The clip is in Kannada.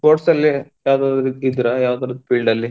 Sports ಅಲ್ಲಿ ಯಾವ್ದಾದ್ರು ಇದ್ದಿದ್ರಾ ಯಾವ್ದಾದ್ರು field ಅಲ್ಲಿ?